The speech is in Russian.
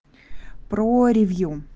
про ревью